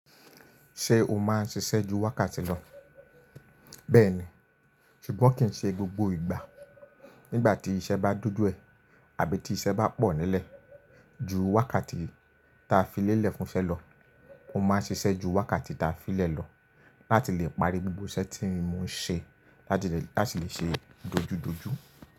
Ṣé o máa ń ṣiṣẹ́ ju wákàtí lọ? Bẹ́ẹ̀ ni, ṣùgbọ́n kì í ṣe gbogbo ìgbà. Nígbà tí iṣẹ́ bá dojú ẹ, àbí tí iṣẹ́ bá pọ̀ nílẹ̀, ju wákàtí ta filé lẹ̀ fúnṣẹ́ lọ, mo máa ń ṣiṣẹ́ ju wákàtí ta fi lẹ̀ lọ láti lè parí gbogbo iṣẹ́ tí mo ṣe láti lè ṣe é dojúdojú.